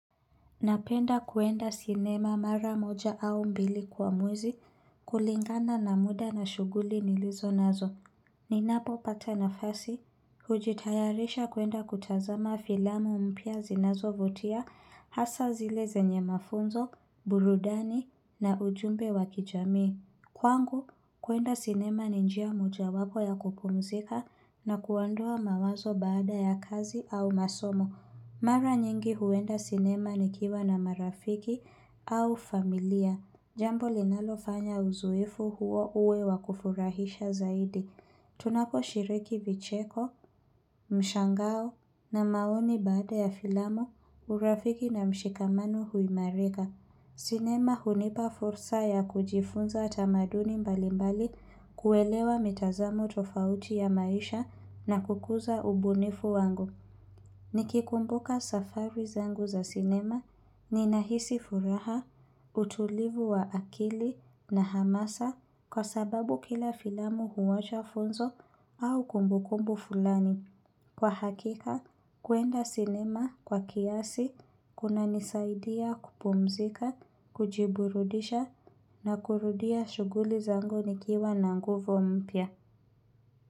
Napenda kuenda sinema mara moja au mbili kwa mwezi kulingana na muda na shughuli nilizo nazo. Ninapopata nafasi, hujitayarisha kuenda kutazama filamu mpya zinazovutia hasa zile zenye mafunzo, burudani na ujumbe wakijamii. Kwangu, kuenda sinema ni njia moja wapo ya kupumzika na kuandua mawazo baada ya kazi au masomo. Mara nyingi huenda sinema nikiwa na marafiki au familia. Jambo linalofanya uzoefu huo uwe wakufurahisha zaidi. Tunakoshiriki vicheko, mshangao na maoni baada ya filamo urafiki na mshikamanu huimareka. Sinema hunipa fursa ya kujifunza tamaduni mbalimbali kuwelewa mitazamo tofauti ya maisha na kukuza ubunifu wangu. Nikikumbuka safari zangu za sinema, ninahisi furaha, utulivu wa akili na hamasa kwa sababu kila filamu huwacha funzo au kumbukumbu fulani. Kwa hakika, kwenda sinema kwa kiasi, kuna nisaidia kupumzika, kujiburudisha na kurudia shughuli zangu nikiwa na nguvo mpya.